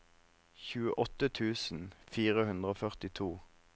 tjueåtte tusen fire hundre og førtito